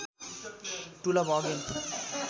to love again